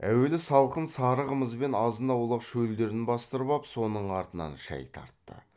әуелі салқын сары қымызбен азын аулақ шөлдерін бастырып ап соның артынан шай тартты